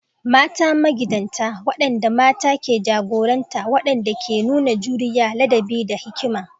Mata magidanta: waɗanda mata ke jagoranta waɗanda ke nuna juriya, ladabi, da hikima.